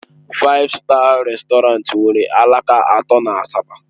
Faif Staa Rèstọrantị nwere alaka atọ na Asaba.